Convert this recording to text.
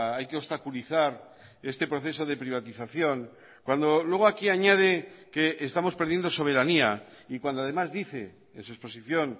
hay que obstaculizar este proceso de privatización cuando luego aquí añade que estamos perdiendo soberanía y cuando además dice en su exposición